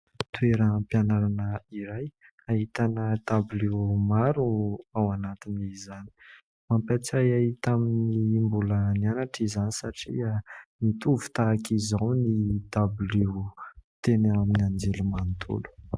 Toeram-pianarana iray ahitana dabilio maro ao anatin'izany ; mampahatsiahy ahy taminy mbola nianatra izany satria nitovy tahaka izao ny tabilio teny amin'ny anjerimanontolo.